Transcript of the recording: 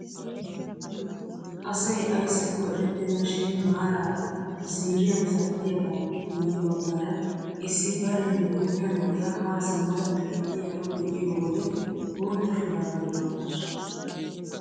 Asay ayssakko erettena shin maarara ziiriyaan zattiyaagaappe guye baggaara issi bariyaan guuta na'iyaa haa simmada xeelliyaaro be'iyoo wode bootta shurabiyaa maayasu!